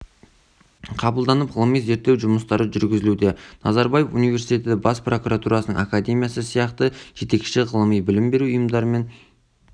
қабылданып ғылыми зерттеу жұмыстары жүргізілуде назарбаев университеті бас прокуратурасының академиясы сияқты жетекші ғылыми-білім беруші ұйымдармен